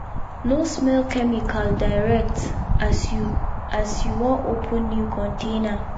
no smell chemical direct as you as you wan open new container.